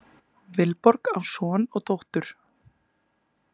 Vilborg á son og dóttur.